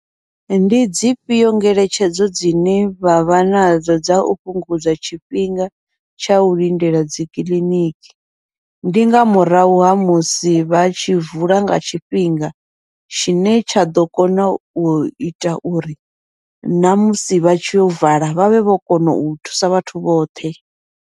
Ndi dzifhio ngeletshedzo dzine vha vha nadzo dza u fhungudza tshifhinga tsha u lindela dzikiḽiniki, ndi nga murahu ha musi vha tshi vula nga tshifhinga, tshine tsha ḓo kona uita uri namusi vha tshi yo vala vhavhe vho kona u thusa vhathu vhoṱhe.